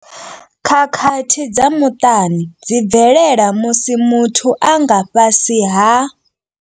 Khakhathi dza muṱani dzi bvelela musi muthu a nga fhasi ha.